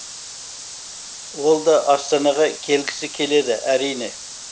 ол да астанаға келгісі келеді әрине